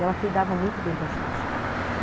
Ela cuidava muito bem da gente, uhum.